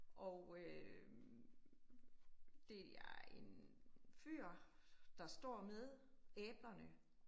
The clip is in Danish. Og øh det er en fyr, der står med æblerne